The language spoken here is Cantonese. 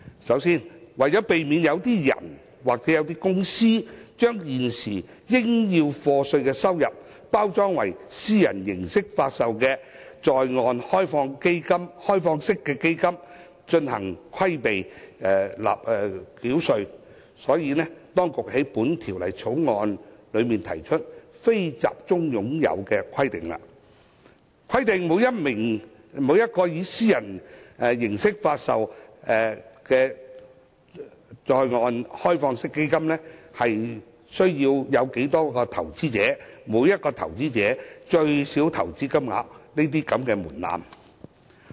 首先，為避免有個人或公司把現時須課稅的收入，包裝為以私人形式發售的在岸開放式基金以避稅，當局在《條例草案》中提出"非集中擁有"的規定，規定每一個以私人形式發售的在岸開放式基金的投資者數目及每名投資者的最低投資金額等門檻。